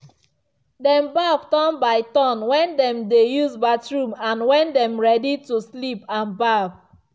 dem baff turn by turn when dem dey use bathroom and when them ready to sleep and baff.